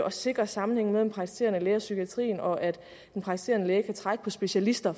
at sikre sammenhængen mellem praktiserende læger og psykiatrien og at den praktiserende læge kan trække på specialister